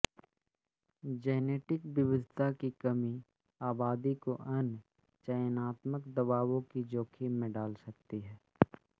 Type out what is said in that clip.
genetic विविधता की कमी आबादी को अन्य चयनात्मक दबावों के जोखिम में डाल सकती है